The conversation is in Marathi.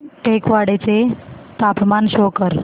टेकवाडे चे तापमान शो कर